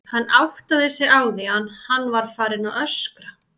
Hann áttaði sig á því að hann var farinn að öskra.